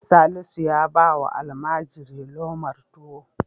Salisu ya ba wa almajiri lomar tuwo.